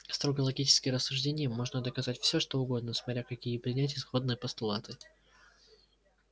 строго логическим рассуждением можно доказать все что угодно смотря какие принять исходные постулаты